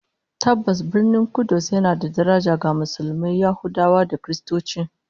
Tabbas, Birnin Kudus yana da daraja ga Musulmai, Yahudawa da Kiristoci